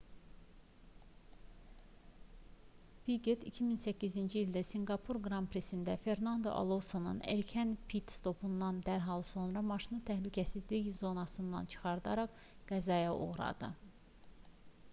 piqet jr 2008-ci ildə sinqapur qran prisində fernando alonsonun erkən pit-stopundan dərhal sonra maşını təhlükəsizlik zonasından çıxararaq qəzaya uğradı